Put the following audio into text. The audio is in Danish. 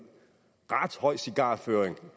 ret høj cigarføring